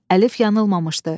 Əlif yanılmamışdı.